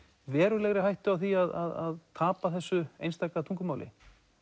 verulegri hættu á því að tapa þessu einstaka tungumáli